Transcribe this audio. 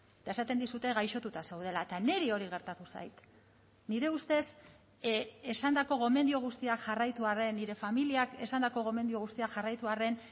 eta esaten dizute gaixotuta zaudela eta niri hori gertatu zait nire ustez esandako gomendio guztiak jarraitu arren nire familiak esandako gomendio guztiak jarraitu arren